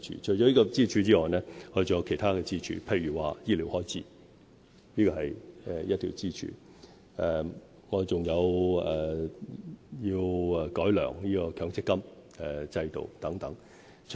除這條支柱外，我們還有其他支柱，醫療開支便是另一條支柱；我們亦會改良強積金制度等。